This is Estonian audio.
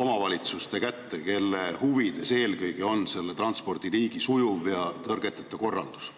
omavalitsuste kätte, kelle huvides eelkõige on selle transpordiliigi sujuv ja tõrgeteta korraldus?